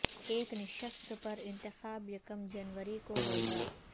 ایک نشست پر انتخاب یکم جنوری کو ہو گا